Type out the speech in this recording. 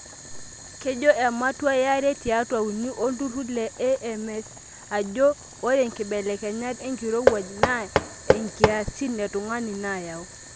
Kejo ematua yare tiatua uni olturrur le AMS ajo ore nkibelekenyat enkirowuaj naa ankiasin e tungani naayau.